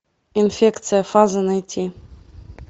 инфекция фаза найти